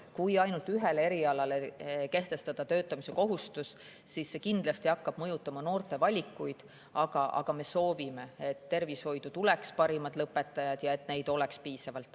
Kui ainult ühel erialal kehtestada töötamise kohustus, siis see kindlasti hakkab mõjutama noorte valikuid, aga me soovime, et tervishoidu tuleksid parimad lõpetajad ja et neid oleks piisavalt.